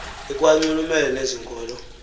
ikwanxulumene nezi nkolo